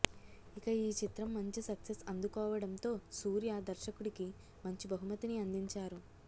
ఇక ఈ చిత్రం మంచి సక్సెస్ అందుకోవడం తో సూర్య దర్శకుడి కి మంచి బహుమతి ని అందించారు